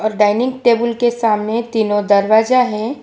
और dining table के सामने तीनों दरवाजा है।